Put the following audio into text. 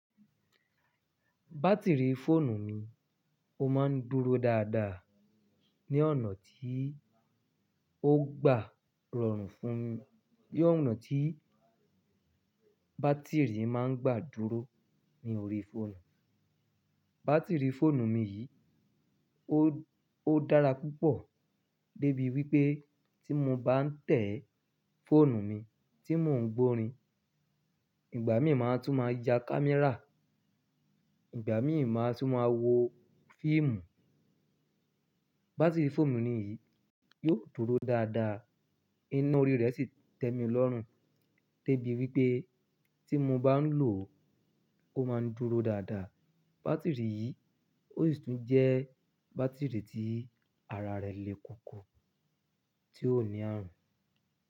Batiri fóònù mi, ó máa ń dúró dáadáa ní ọ̀nà tí ó gba rọrùn fún, ní ọ̀nà tí bátìrì máa ń gba dúró ní orí fóònù. Batiri fóònù mi yìí ó dára púpọ̀ debi wípé tí mo bá ń tẹ̀ fóònù mi, tí mò ń gbórin, ìgbà mi máa tún máa ya kámẹ́rà, ìgbà mi máa tún máa wo fíìmù. Batiri fóònù mi yìí yóò dúró dáadáa, iná orí rẹ̀ sì tẹ́mi lọ́rùn débi wípé tí mo bá ń lò ó, ó máa ń dúró dáadáa. Batiri yìí ó sì tún jẹ́ bátìrì tí ara rẹ̀ le koko, tí ó ní ààrùn.